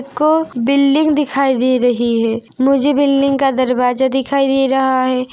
एको building दिखाई दे रही है मुझे बिल्डिंग का दरवाजा दिखाई दे रहा हैं।